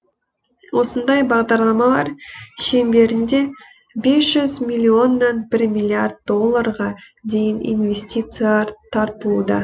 осындай бағдарламалар шеңберінде бес жүз миллионнан бір миллиард долларға дейін инвестициялар тартылуда